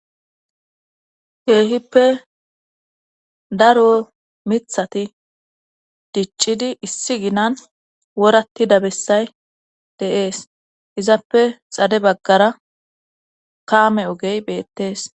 keehippe daro mithati diccidi issi ginan woratti dabessay deees izappe xade baggara kaame ogey beettees